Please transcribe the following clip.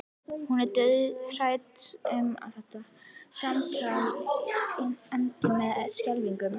Hún er dauðhrædd um að þetta samtal endi með skelfingu.